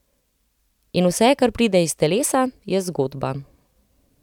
In vse, kar pride iz telesa, je zgodba.